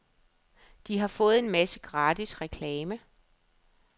De har fået en masse gratis reklame.